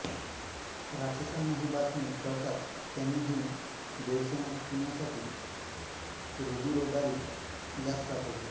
राक्षसांना ही बातमी कळताच त्यांनी ही देवसेना थोपविण्यासाठी रूधिरोद्गारी यास पाठवले